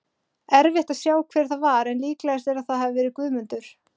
Erfitt að sjá hver það var en líklegast er að það hafi verið Guðmundur.